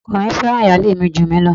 Ọkọ mi fẹ́ràn ìyálé mi jù mí lọ.